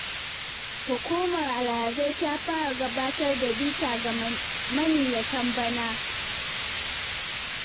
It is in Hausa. Hukumar alhazai ta fara gabatar da bita ga maniyyatan bana.